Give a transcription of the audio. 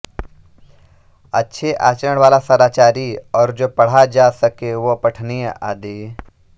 अच्छे आचरण वाला सदाचारी और जो पढ़ा जा सके वह पठनीय आदि